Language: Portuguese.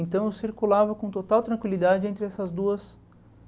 Então eu circulava com total tranquilidade entre essas duas